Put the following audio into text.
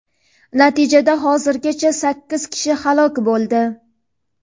Natijada hozirgacha sakkiz kishi halok bo‘ldi.